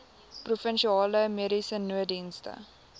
provinsiale mediese nooddienste